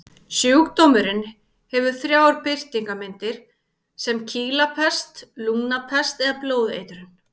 Sjúkdómurinn hefur þrjár birtingarmyndir, sem kýlapest, lungnapest eða blóðeitrun.